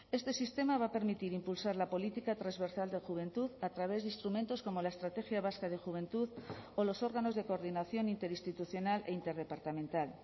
este sistema va a permitir impulsar la política transversal de juventud a través de instrumentos como la estrategia vasca de juventud o los órganos de coordinación interinstitucional e interdepartamental